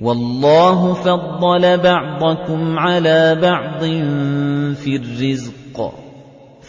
وَاللَّهُ فَضَّلَ بَعْضَكُمْ عَلَىٰ بَعْضٍ فِي الرِّزْقِ ۚ